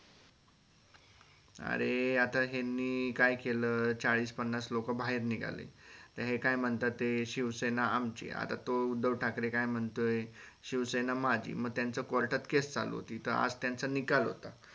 अर आता यांनी काय केल चाळीस पन्नास लोक बाहेर निघाले तर हे काय मानता ते शिवसेना आमची आता तो उद्धव ठाकरे काय म्हणतोय शिवसेना माझी म त्याचं court case चालू होती त आज त्यांचा निकाल होता.